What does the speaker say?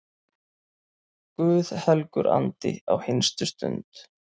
Guð helgur andi, á hinstu stund